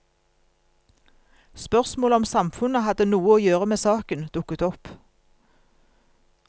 Spørsmålet om samfunnet hadde noe å gjøre med saken, dukket opp.